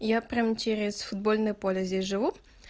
я прям через футбольное поле здесь живу